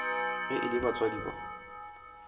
ge e le batswadi ba